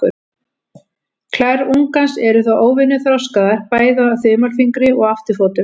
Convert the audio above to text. Klær ungans eru þó óvenju þroskaðar, bæði á þumalfingri og afturfótum.